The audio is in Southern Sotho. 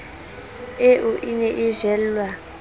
eo e ne e jellwa